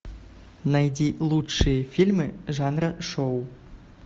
найди лучшие фильмы жанра шоу